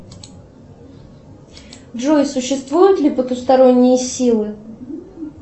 джой существуют ли потусторонние силы